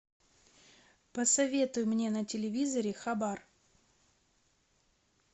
посоветуй мне на телевизоре хабар